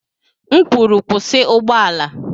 M kwuru, kwụsị ụgbọ ala!